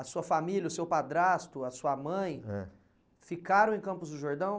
A sua família, o seu padrasto, a sua mãe, eh, ficaram em Campos do Jordão?